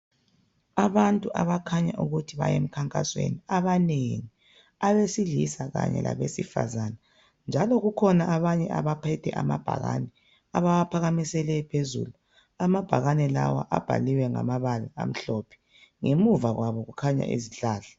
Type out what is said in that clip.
Abantu abakhanya ukuthi baya emkhankasweni abanengi abesilisa labesifazana. Njalo kukhona abanye abaphethe amabhakane abawaphakamise lephezulu. Amabhakane lawa abhaliwe ngamabala amhlophe, ngemuva kwabo kukhanya izihlahla.